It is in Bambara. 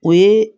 O ye